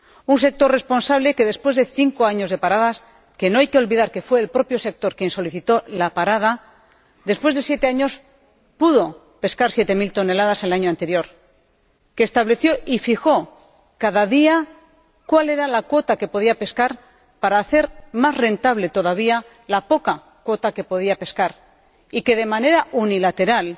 Un sector responsable que, después de cinco años de parada no hay que olvidar que fue el propio sector quien solicitó la parada pudo pescar 7 mil toneladas el año anterior, que estableció y fijó cada día cuál era la cuota que podía pescar para hacer más rentable todavía la poca cuota que podía pescar y que, de manera unilateral,